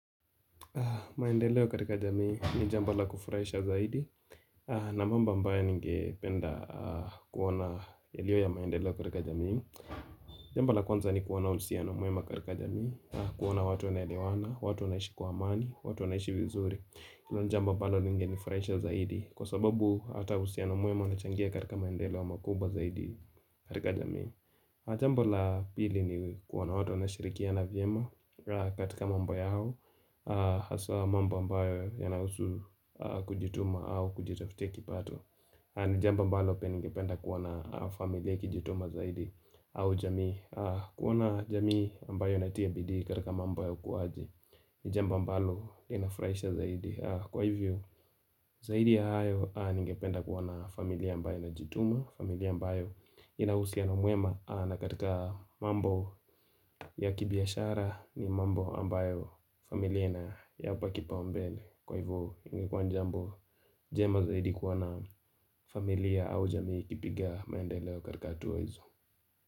Maendeleo katika jamii ni jambo la kufuraisha zaidi na mambo ambayo ningeyapenda kuona yaliyo ya maendeleo katika jamii Jambo la kwanza ni kuona uhusiano mwema katika jamii kuona watu wanaelewana, watu wanaishi kwa amani, watu wanaishi vizuri hilo ni jambo ambalo limenifurahisha zaidi Kwa sababu hata uhusiano mwema unachangia katika maendeleo makubwa zaidi katika jamii Jambomla pili ni kuona watu wanashirikiana vyema katika mambo yao. Haswa mambo mbayo yana huusu kujituma au kujitafutia kipato ni jambo ambalo pia ningependa kuona familia ikijituma zaidi au jamii kuona jamii mbayo inatia bidii katika mambo ya ukuwaji N ijambo ambalo inafuraisha zaidi Kwa hivyo zaidi ya hayo Ningependa kuwa na familia ambayo inajituma familia mbayo inauhusiano mwema na katika mambo ya kibiashara ni mambo ambayo familia inayapa kipao mbele Kwa hivo ingekua ni jambo jema zaidi kuwana familia au jamii kupiga maendeleo katika hatua hizo.